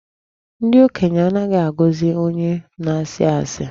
Ndị okenye anaghị agọzị onye na-asị asị